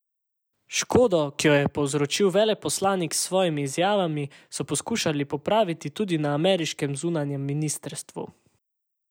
Škodo, ki jo je povzročil veleposlanik s svojimi izjavami, so poskušali popraviti tudi na ameriškem zunanjem ministrstvu.